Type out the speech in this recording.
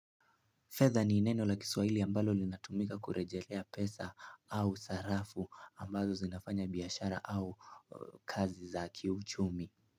Fedha ni neno la kiswaili ambalo linatumika kurejelea pesa au sarafu ambazo zinafanya biashara au kazi za kiuchumi.